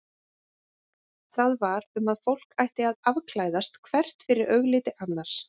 Það var um að fólk ætti að afklæðast hvert fyrir augliti annars.